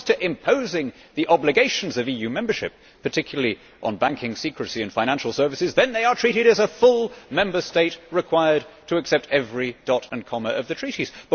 When it comes to imposing the obligations of EU membership, particularly on banking secrecy and financial services, they are treated as a full Member State required to accept every dot and comma of the Treaties.